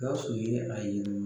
Gawusu ye a ye